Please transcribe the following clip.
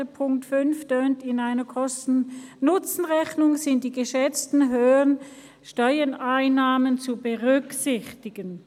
dieser lautet: «In einer Kosten-Nutzen-Rechnung sind die geschätzten höheren Steuereinnahmen zu berücksichtigen.».